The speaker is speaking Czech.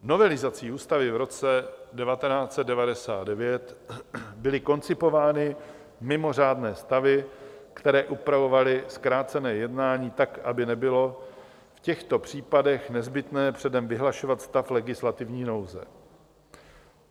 Novelizací ústavy v roce 1999 byly koncipovány mimořádné stavy, které upravovaly zkrácené jednání tak, aby nebylo v těchto případech nezbytné předem vyhlašovat stav legislativní nouze.